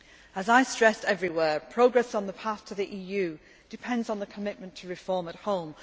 As I stressed everywhere, progress on the path to the EU depends on the commitment to reform at